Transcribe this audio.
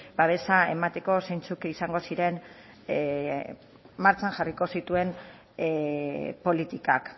babesa emateko zeintzuk izango ziren martxan jarriko zituen politikak